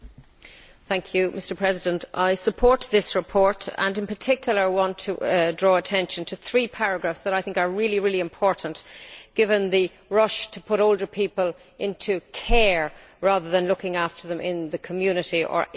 Mr President, I support this report and, in particular, want to draw attention to three paragraphs that I think are really important, given the rush to put older people into care rather than looking after them in the community or in their own homes.